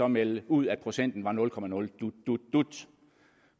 melde ud at procenten var nul komma nul dut